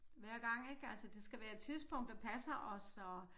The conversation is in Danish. Hver gang ik altså det skal være et tidspunkt der passer os og